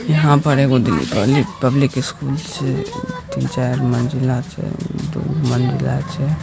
यहाँ पर एगो दी-दिल्ली पब्लिक स्कूल छै तीन चार मंजिला छै दू मंजिला छै।